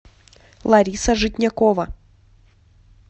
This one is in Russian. лариса житнякова